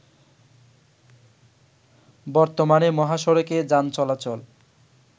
বর্তমানে মহাসড়কে যান চলাচল